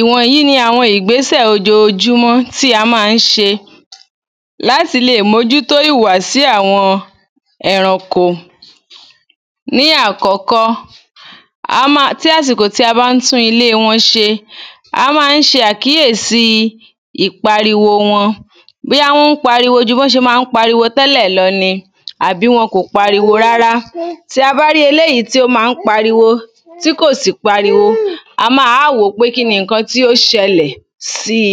ìwọ̀nyí ni ìgbésẹ̀ ojoojúmọ́ tí a máa ń ṣe láti lè mójútó ìwùwàsí àwọn ẹranko ní àkọ́kọ́, a máa tí àsìkò tí a bá ń tún ilé wọn ṣe, a máa ń ṣàkíyèsí ìpariwo wọn bóyá wọ́n pariwo ju bọ́n ṣe máa ń pariwo tẹ́lẹ̀ lọ ni àbí wọn kò pariwo rárá tí a bá rí eléyìí tí ó máa ń pariwo tí kò sì pariwo, a máa wá wò pé kíni ǹkan tí ó ṣẹlẹ̀ síi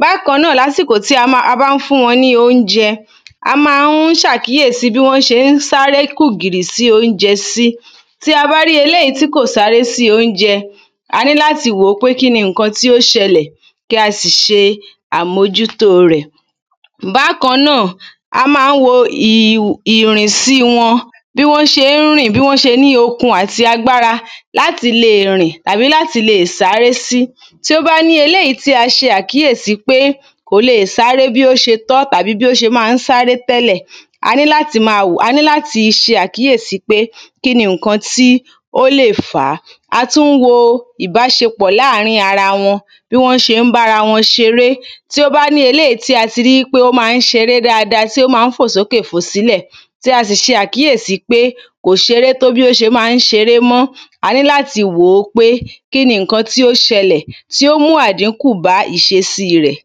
bákan náà ní àsìkò tí a bá ń fún wọn ní oúnjẹ a máa ń ṣàkíyèsí bí wọ́n ṣe ń sárékùgìrì sí oúnjẹ sí tí a bá rí eléyìí tí kò sáré sí oúnjẹ, a ní láti wòó pé kíni ǹkan tí ó ṣẹlẹ̀, kí a sì ṣe àmójútó rẹ̀ bákan náà a máa ń wo ìrìnsí wọn bí wọ́n ṣe ń rìn bí wọ́n ṣe ní okun àti agbára láti le rìn tàbí láti le sáré sí tí ó bá ní eléyìí tí a ṣe àkíyèsí pé kò le sáré bí ó ṣe tọ́ àbí bí ó ṣe máa ń sáré tẹ́lẹ̀ a ní láti máa wòó, a ní láti ṣe àkíyèsí pé kíni ǹkan tí ó lè fàá a tún wo ìbáṣepọ̀ láàrin ara wọn bí wọ́n ṣe ń bára wọn ṣeré tí ó bá ní eléyìí tí a ti rí pé ó máa ṣeré dáadáa tí ó máa ń fò sókè fò sílẹ̀ tí a sì ṣe àkíyèsí pé kò ṣeré bó ṣe máa ń ṣeré mọ́ a ní láti wòó pé kíni ǹkan tí ó ṣẹlẹ̀ tí ó mú àdínkù bá ìṣesí rẹ̀.